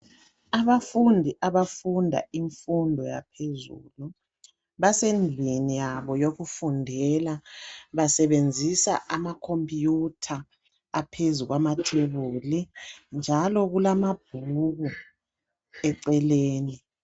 Abafundi abafunda imfundo yaphezulu basendlini yabo yokufundela basebenzisa ama computer aphezu kwamathebuli njalo kulamabhuku eceleni